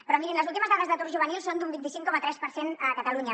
però mirin les últimes dades d’atur juvenil són d’un vint cinc coma tres per cent a catalunya